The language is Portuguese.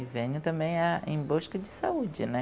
E venho também a em busca de saúde, né?